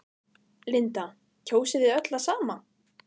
Linda: Kjósið þið öll það sama?